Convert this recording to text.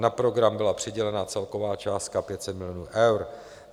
Na program byla přidělena celková částka 500 milionů eur.